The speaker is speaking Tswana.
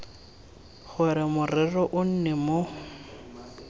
gore morero o nne mo